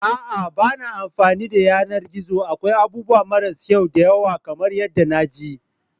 A'a ba na amfani da yanar gizo akwai abubuwa marasa kyau da yawa kamar yadda na ji.